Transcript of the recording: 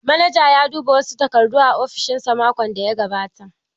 Manaja ya duba wasu takardu a ofishin sa makon daya gabata